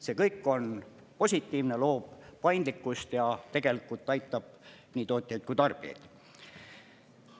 See kõik on positiivne, loob paindlikkust ja tegelikult aitab nii tootjaid kui tarbijaid.